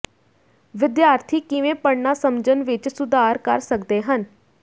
ਵਿਦਿਆਰਥੀ ਕਿਵੇਂ ਪੜ੍ਹਨਾ ਸਮਝਣ ਵਿਚ ਸੁਧਾਰ ਕਰ ਸਕਦੇ ਹਨ